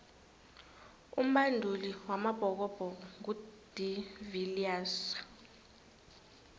umbanduli wamabhokobhoko ngu de viliers